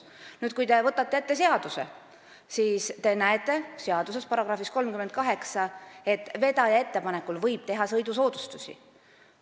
Nüüd, kui te võtate ette seaduse, siis te näete seaduse §-s 38, et vedaja ettepanekul võib teha sõidusoodustusi.